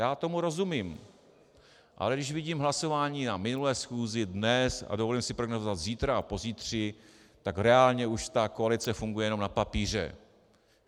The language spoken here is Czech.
Já tomu rozumím, ale když vidím hlasování na minulé schůzi, dnes a dovolím si prognózovat, zítra a pozítří, tak reálně už ta koalice funguje jenom na papíře.